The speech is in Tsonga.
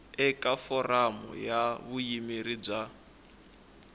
eka foramu ya vuyimeri bya